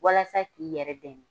Walasa k'i yɛrɛ dɛmɛ.